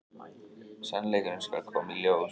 Sannleikurinn skal koma í ljós.